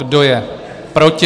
Kdo je proti?